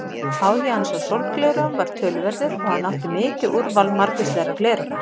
Áhugi hans á sólgleraugum var töluverður og hann átti mikið úrval margvíslegra gleraugna.